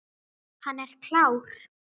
Hann er klár.